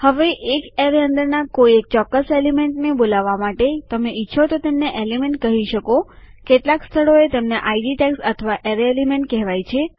હવે એક એરેય અંદરના કોઈ એક ચોક્કસ એલિમેન્ટને બોલાવવા માટે તમે ઈચ્છો તો તેમને એલિમેન્ટ કહી શકો કેટલાક સ્થળોએ તેમને આઈડી ટૅગ્સ અથવા એરેય એલિમેન્ટ કહેવાય છે